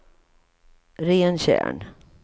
Rentjärn